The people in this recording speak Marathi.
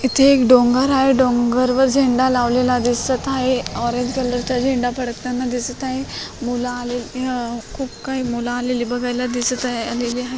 इथे एक डोंगर आहे डोंगरवर झेंडा लावलेला दिसत आहे ऑरेंज कलरचा झेंडा फडकताना दिसत आहे मुल आले अं खूप काही मुल आलेले बघायाला दिसत हाय आलेले हाय.